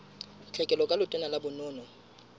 tlhekelo ka letona la bonono